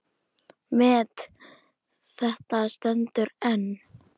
Met þetta stendur enn.